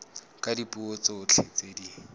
ka dipuo tsotlhe tse di